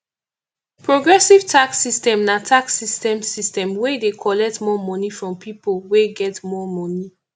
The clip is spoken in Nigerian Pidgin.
progressive tax system na tax system system wey dey collect more money from pipo wey get more money